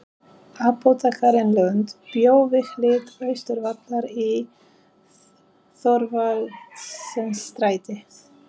Apótekari Lund bjó við hlið Austurvallar í Thorvaldsensstræti